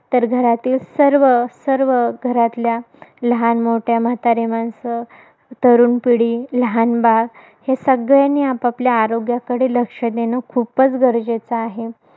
तर घरातील सर्व, सर्व घरातल्या लहान, मोठी, म्हातारी माणसं, तरुण पिढी, लहान बाळ हे सगळ्यांनी आपापल्या आरोग्याकडे लक्ष देणं खूपच गरजेचं आहे.